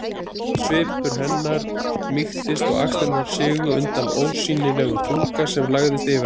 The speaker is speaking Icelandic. Svipur hennar mýktist og axlirnar sigu undan ósýnilegum þunga sem lagðist yfir hana.